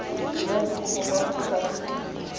dira kopo kwa kgotlatshekelo ya